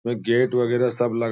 gate वगैरह सब लगा --